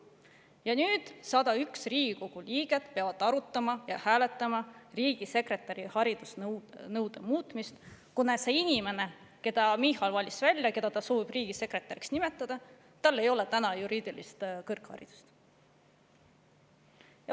Ja nüüd peavad 101 Riigikogu liiget arutama ja hääletama riigisekretäri haridusnõude muutmist, kuna sellel inimesel, kelle Michal välja valis ja keda ta soovib riigisekretäriks nimetada, ei ole juriidilist kõrgharidust.